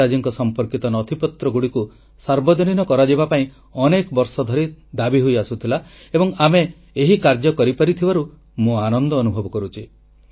ନେତାଜୀଙ୍କ ସମ୍ପର୍କିତ ନଥିପତ୍ରଗୁଡ଼ିକୁ ସାର୍ବଜନୀନ କରାଯିବା ପାଇଁ ଅନେକ ବର୍ଷ ଧରି ଦାବି ହୋଇଆସୁଥିଲା ଏବଂ ଆମେ ଏହି କାର୍ଯ୍ୟ କରିପାରିଥିବାରୁ ମୁଁ ଆନନ୍ଦ ଅନୁଭବ କରୁଛି